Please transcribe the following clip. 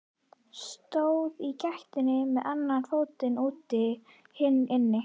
Stóð í gættinni með annan fótinn úti, hinn inni.